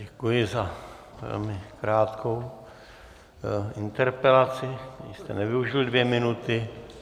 Děkuji za velmi krátkou interpelaci, ani jste nevyužil dvě minuty.